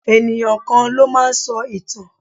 Ènìyàn kan ló máa ń sọ ìtàn.